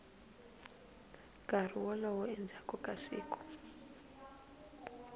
nkarhi wolowo endzhaku ka siku